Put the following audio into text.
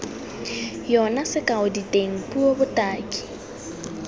yona sekao diteng puo botaki